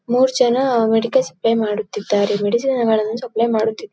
ಮೂರ್ಜನ medical supply ಮಾಡುತ್ತಿದ್ದಾರೆ medicine ಗಳನ್ನು supply ಮಾಡುತ್ತಿ.